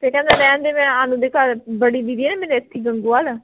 ਫੇਰ ਕਹਿੰਦਾ ਰਹਿਣ ਦੇ ਮੈਂ ਆ ਲੈਣ ਦੇ ਘਰ ਬੜੀ ਦੀਦੀ ਐ ਨਾ ਮੇਰੀ ਇਥੇ ਗੰਗੂਵਾਲ